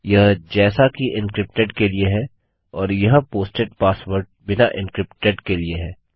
यह जैसा कि एन्क्रिप्टेड के लिए है और यह पोस्टेड पासवर्ड बिना एन्क्रिप्टेड के लिए है